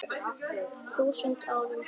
þúsund árum.